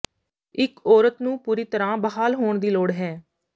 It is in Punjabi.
ਇਕ ਔਰਤ ਨੂੰ ਪੂਰੀ ਤਰਾਂ ਬਹਾਲ ਹੋਣ ਦੀ ਲੋੜ ਹੈ